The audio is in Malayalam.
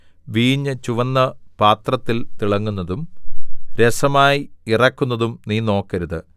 വീഞ്ഞു ചുവന്ന് പാത്രത്തിൽ തിളങ്ങുന്നതും രസമായി ഇറക്കുന്നതും നീ നോക്കരുത്